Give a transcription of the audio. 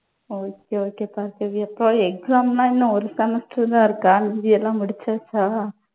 okay, okay Bhargavi. எப்பா exam எல்லாம் இன்னும் ஒரு semester தான் இருக்கா, மீதி எல்லாம் முடிச்சாச்சா